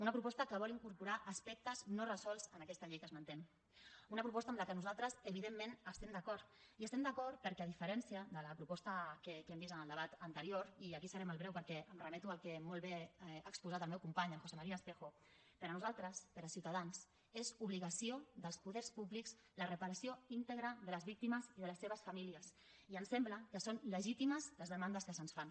una proposta que vol incorporar aspectes no resolts en aquesta llei que esmentem una proposta amb què nosaltres evidentment estem d’acord i hi estem d’acord perquè a diferència de la proposta que hem vist en el debat anterior i aquí seré molt breu perquè em remeto al que molt bé ha exposat el meu company en josé maría espejo per nosaltres per ciutadans és obligació dels poders públics la reparació íntegra de les víctimes i de les seves famílies i ens sembla que són legítimes les demandes que se’ns fan